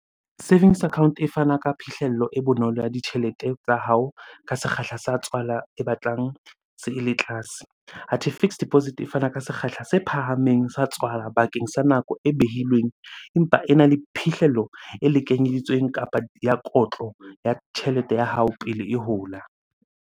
Savings account e fana ka phihlello e bonolo ya ditjhelete tsa hao ka sekgahla sa tswala e batlang se, ele tlase. Athe fixed deposit e fana ka sekgahla se phahameng sa tswala bakeng sa nako e behilweng, empa ena le phihlello e lekanyeditsweng kapa ya kotlo ya tjhelete ya hao pele e hola.